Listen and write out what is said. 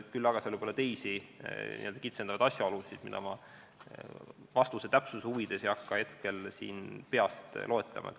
Küll aga võib olla teisi kitsendavaid asjaolusid, mida ma vastuse täpsuse huvides ei hakka siin peast loetlema.